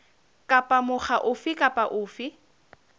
kapa mokga ofe kapa ofe